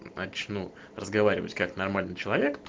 начну разговаривать как нормальный человек